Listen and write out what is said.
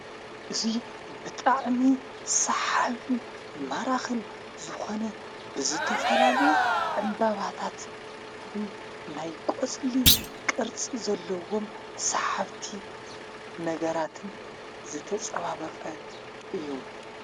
እዙይ ብጣዕሚ ሳሓብን መራኽን ዝኾነ ብዝተፈላለዩ ዕምባባታትን ናይ ቈጽሊ ቕርጽ ዘለዎም ሰሕብቲ ነገራትን ዘተጸባበቐ እዩ፡፡